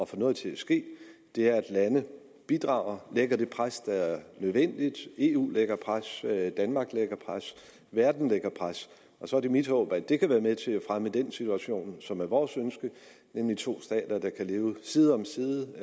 få noget til at ske er at lande bidrager og lægger det pres der er nødvendigt eu lægger pres danmark lægger pres verden lægger pres og så er det mit håb at det kan være med til at fremme den situation som er vores ønske nemlig to stater der kan leve side om side